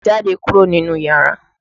Jáde kúrò nínú iyàrá!